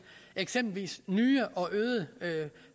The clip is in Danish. eksempelvis nye og øgede